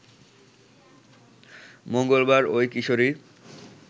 মঙ্গলবার ওই কিশোরী